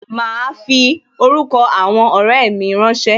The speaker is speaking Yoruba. Ma fi orúkọ àwọn ọrẹ mi rán ṣé